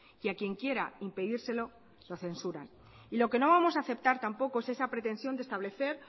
y a quien quiera impedírselo lo censuran lo que no vamos a aceptar tampoco es esa pretensión de establecer